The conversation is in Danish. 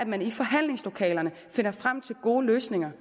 man i forhandlingslokalerne finder frem til gode løsninger